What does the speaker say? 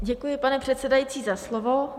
Děkuji, pane předsedající, za slovo.